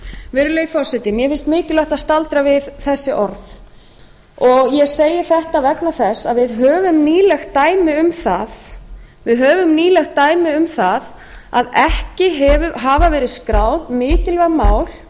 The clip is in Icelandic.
virðulegi forseti mér finnst mikilvægt að staldra við þessi orð ég segi þetta vegna þess að við höfum nýlegt dæmi um það að ekki hafa verið skráð mikilvæg mál